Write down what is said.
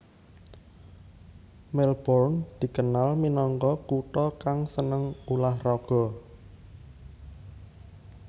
Melbourne dikenal minangka kutha kang seneng ulah raga